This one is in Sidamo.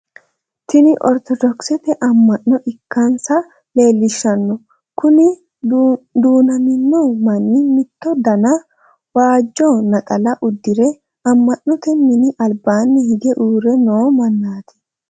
Tinni ortodokisete ama'no ikansa leelishano kunni duunamino manni mitto danna waajo naxala udire ama'note minni albaanni hige uure noo manaati.